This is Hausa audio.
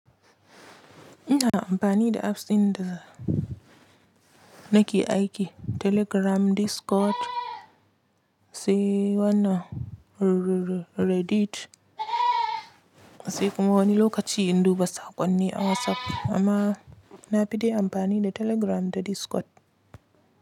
Ina amfani da apps ɗin da nake aiki Telegram, Discord, sai wannan Reddit. Sai kuma wani lokaci in duba saƙonni a WhatsApp amma na fi da amfani da Telegram da Discord.